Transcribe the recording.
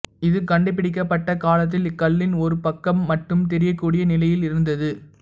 இது கண்டுபிடிக்கப்பட்ட காலத்தில் இக்கல்லின் ஒரு பக்கம் மட்டுமே தெரியக்கூடிய நிலையில் இருந்தது